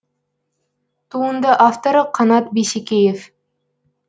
туынды авторы қанат бейсекеев